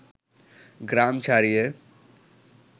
গ্রাম ছাড়িয়ে